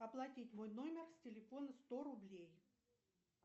оплатить мой номер с телефона сто рублей